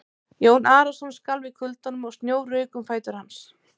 Jón Arason skalf í kuldanum og snjór rauk um fætur hans.